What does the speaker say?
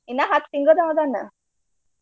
ಇನ್ನ ಹತ್ತ್ ತಿಂಗಳ್ದಾಂವ ಅದಾನ.